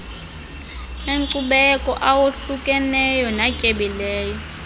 enkcubeko awohlukeneyo natyebileyo